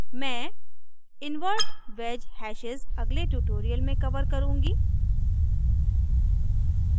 मैं invert wedge hashes अगले tutorial में cover करुँगी